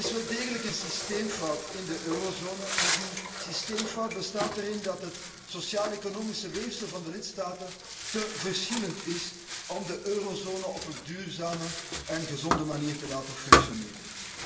Er is wel degelijk een systeemfout in de eurozone, en die systeemfout bestaat erin dat het sociaal economisch weefsel van de lidstaten te verschillend is om de eurozone op een duurzame en gezonde manier te laten functioneren.